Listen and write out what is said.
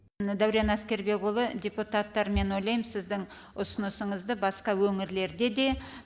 мына дәурен әскербекұлы депуттар мен ойлайм сіздің ұсынысыңызды басқа өңірлерде де